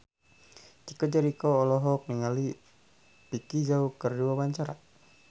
Chico Jericho olohok ningali Vicki Zao keur diwawancara